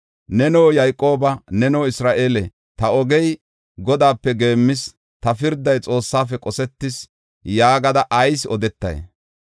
Neno Yayqoobaa, neno Isra7eele, Ta ogey Godaape geemmis; ta pirday Xoossaafe qosetis; yaagada ayis odetay?